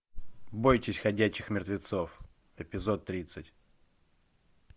бойтесь ходячих мертвецов эпизод тридцать